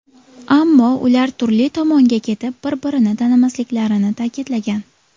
Ammo ular turli tomonga ketib, bir-birini tanimasliklarini ta’kidlagan.